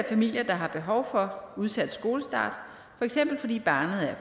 familier der har behov for udsat skolestart for eksempel fordi barnet er